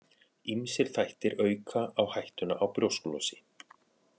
Ýmsir þættir auka á hættuna á brjósklosi.